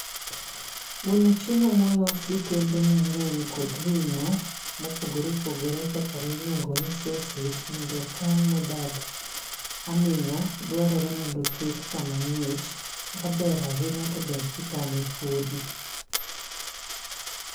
Mondo chiemo ma olos gi kembe mangény kod ringó mopogore opogore kaka ma iluongoni sosej, mondo okan ma odag amingá, dwarore mondo oket kama ngích. Kaber ahinya to ber ka ikane fudhi.